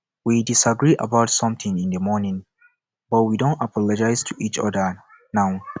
we disagree about something in the morning but we don apologize to each other now